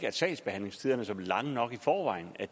at sagsbehandlingstiderne som er lange nok i forvejen